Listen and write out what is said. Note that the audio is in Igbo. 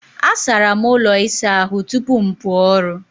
Asara m ụlọ ịsa ahụ tupu m pụọ ọrụ.